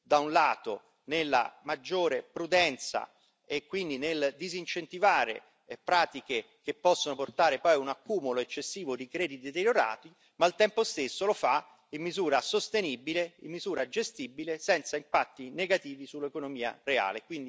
da un lato, nella maggiore prudenza e quindi nel disincentivare pratiche che possono portare poi a un accumulo eccessivo di crediti deteriorati, ma al tempo stesso lo fa in misura sostenibile, in misura gestibile, senza impatti negativi sull'economia reale.